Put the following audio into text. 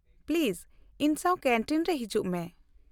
-Please ᱤᱧ ᱥᱟᱶ canteen ᱨᱮ ᱦᱤᱡᱩᱜ ᱢᱮ ᱾